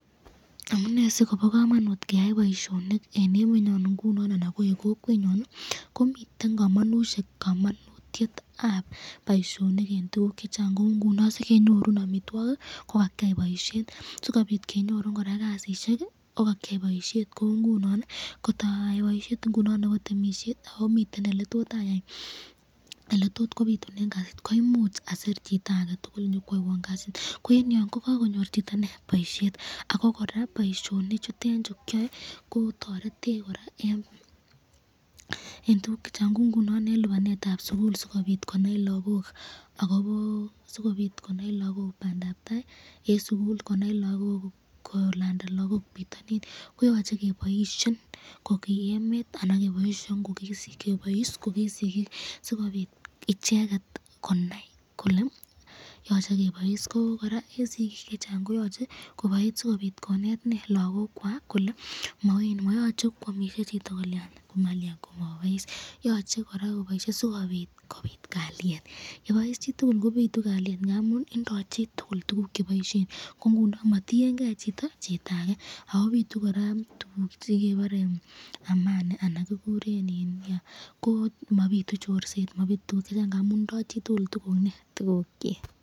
Amune sikobo kamanut keyai boisyoni eng emenyon inguni anan ko eng kokwenyon ii komiten kamanutyetab ab boisyonik eng tukuk chechang ,kou ngunon sikemyorun amitwokik, kokakyai boisyonik , sikobit koraa kenyorun kasit Ii kokakyai boishet kou ngunon ii kotayai boisyet ingunon nebo temisyet akomiten eletot kobitunen kasit koimuch adir chitake tukul kobit nyokwaiwon kasit, ko eng yon kokakonyor chito boisyet ak ko koraa boisyonik chuten chu kyae kotoretech koraz eng tukuk chechang kou ngunon eng lagok ,eng lipanetab sukul sikobit konai lagok bandab tai kogeren sukul, kolanda lagok potanin koyache keboisyen koki emet anan kokiboisyen koki sikik .